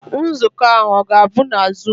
Nzukọ ahụ ọ ga-abụ na zuum?